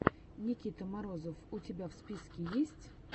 никита морозов у тебя в списке есть